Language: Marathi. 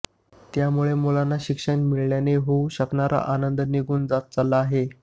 त्यामुळे मुलांना शिक्षण मिळाल्याने होऊ शकणारा आनंद निघून जात चालला आहे